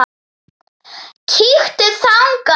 Kíktu þangað.